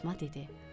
Fatma dedi: